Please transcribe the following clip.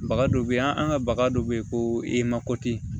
Baga dɔ bɛ yen an ka baga dɔ bɛ yen ko e mako tɛ